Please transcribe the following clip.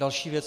Další věc.